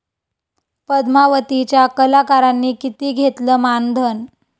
पद्मावती'च्या कलाकारांनी किती घेतलं मानधन?